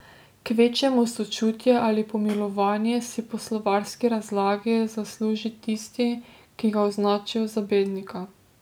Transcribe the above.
Kvečjemu sočutje ali pomilovanje si po slovarski razlagi zasluži tisti, ki ga označijo za bednika.